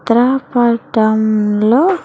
ఇక్కడా కొట్టంలో.